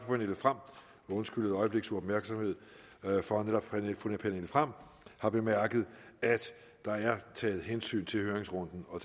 pernille frahm og undskylde et øjebliks uopmærksomhed for at netop fru pernille frahm har bemærket at der er taget hensyn til høringsrunden og